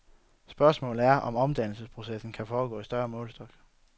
Spørgsmålet er, om omdannelsesprocessen kan foregå i større målestok.